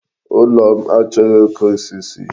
Ulo m achọghị oke osisi.